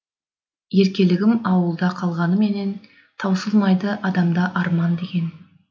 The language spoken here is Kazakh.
еркелігім ауылда қалғанмен қалғанменен таусылмайды адамда арман деген